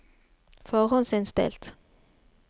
forhåndsinnstilt